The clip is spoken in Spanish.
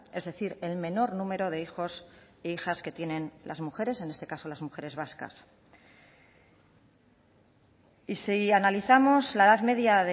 es decir el menor número de hijos e hijas que tienen las mujeres en este caso las mujeres vascas y si analizamos la edad media